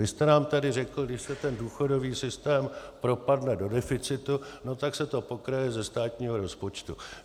Vy jste nám tady řekl: když se ten důchodový systém propadne do deficitu, no tak se to pokryje ze státního rozpočtu.